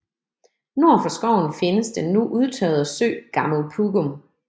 Nord for skoven findes den nu udtørrede sø Gammel Pugum